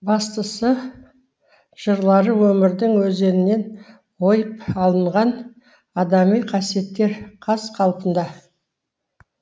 бастысы жырлары өмірдің өзегінен ойып алынған адами қасиеттер қаз қалпында